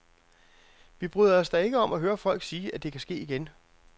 Vi bryder os da ikke om at høre folk sige, at det kan ske igen.